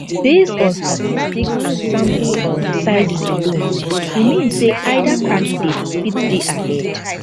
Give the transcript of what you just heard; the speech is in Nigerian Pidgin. based on statistics and sample um sizes alone e mean say either candidate fit dey ahead